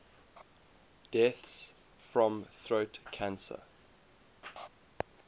deaths from throat cancer